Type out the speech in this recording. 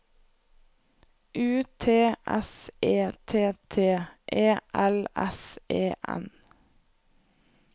U T S E T T E L S E N